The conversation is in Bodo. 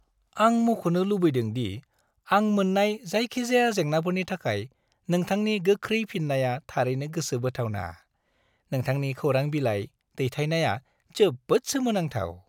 आं मख'नो लुबैदों दि आं मोन्नाय जायखिजाया जेंनाफोरनि थाखाय नोंथांनि गोख्रै फिननाया थारैनो गोसो बोथावना। नोंथांनि खौरां बिलाइ दैथायनाया जोबोद सोमोनांथाव।